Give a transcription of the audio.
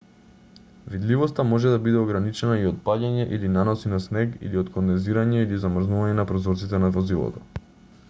видливоста може да биде ограничена и од паѓање или наноси на снег или од кондензирање или замрзнување на прозорците на возилото